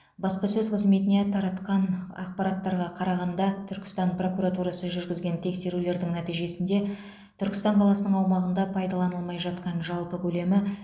баспасөз қызметіне таратқан ақпараттарға қарағанда түркістан прокуратурасы жүргізген тексерулердің нәтижесінде түркістан қаласының аумағында пайдаланылмай жатқан жалпы көлемі